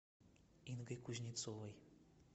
ингой кузнецовой